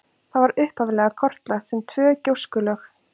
Það var upphaflega kortlagt sem tvö gjóskulög.